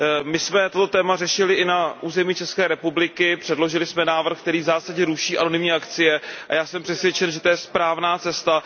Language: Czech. My jsem toto téma řešili i na území České republiky, předložili jsme návrh, který v zásadě ruší anonymní akcie, a já jsem přesvědčen, že to je správná cesta.